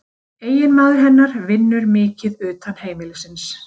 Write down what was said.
Eiginmaður hennar vinnur mikið utan heimilisins